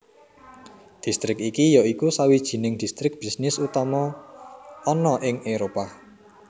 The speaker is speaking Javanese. Distrik iki yaiki sawijining distrik bisnis utama ana ing Éropah